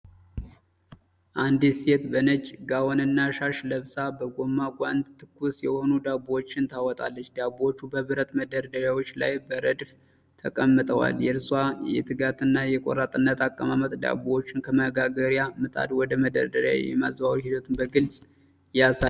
አንዲት ሴት በነጭ ጋውንና ሻሽ ለብሳ በጎማ ጓንት ትኩስ የሆኑ ዳቦዎችን ታወጣለች። ዳቦዎቹ በብረት መደርደሪያዎች ላይ በረድፍ ተቀምጠዋል። የእርሷ የትጋትና የቆራጥነት አቀማመጥ ዳቦዎችን ከመጋገርያ ምጣድ ወደ መደርደሪያው የማዛወር ሂደቱን በግልፅ ያሳያል።